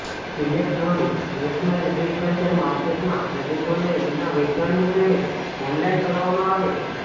electronic national agriculture માર્કેટમાં ખેડૂતોને એમના વેચાણનું પેમેન્ટ ઓનલાઈન કરવામાં આવે છે